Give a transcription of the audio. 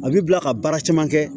A b'i bila ka baara caman kɛ